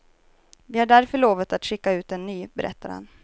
Vi har därför lovat att skicka ut en ny, berättar han.